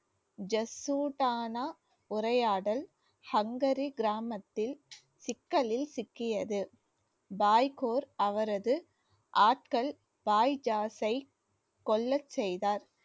ஜசுடானா உரையாடல் ஹங்கரி கிராமத்தில் சிக்கலில் சிக்கியது பாய் கோர் அவரது ஆட்கள் பாய் ஜாசை கொல்லச் செய்தார்